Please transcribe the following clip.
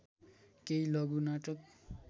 केही लघु नाटक